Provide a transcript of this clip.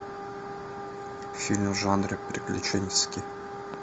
фильм в жанре приключенческий